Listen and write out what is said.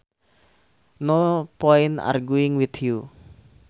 No point arguing with you